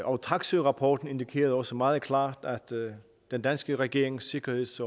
og taksøerapporten indikerede også meget klart at den danske regerings sikkerheds